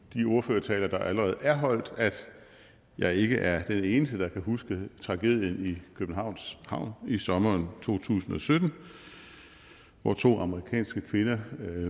de ordførertaler der allerede er holdt at jeg ikke er den eneste der kan huske tragedien i københavns havn i sommeren to tusind og sytten hvor to amerikanske kvinder